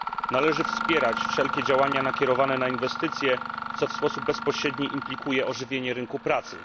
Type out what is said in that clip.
Należy wspierać wszelkie działania nakierowane na inwestycje, co w sposób bezpośredni implikuje ożywienie rynku pracy.